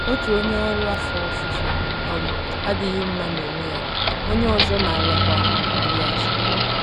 Otu onye ọrụ afọ ofufo um adịghị mma n'onwe ya; onye ọzọ na-arịakwa mgbu azụ.